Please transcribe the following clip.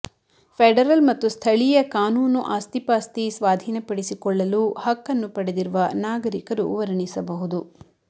federal ಮತ್ತು ಸ್ಥಳೀಯ ಕಾನೂನು ಆಸ್ತಿಪಾಸ್ತಿ ಸ್ವಾಧೀನಪಡಿಸಿಕೊಳ್ಳಲು ಹಕ್ಕನ್ನು ಪಡೆದಿರುವ ನಾಗರಿಕರು ವರ್ಣಿಸಬಹುದು